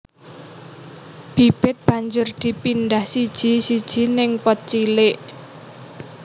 Bibit banjur dipindah siji siji ning pot cilik